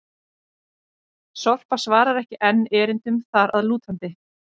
Sorpa svarar ekki enn erindum þar að lútandi!